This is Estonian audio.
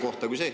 Aitäh!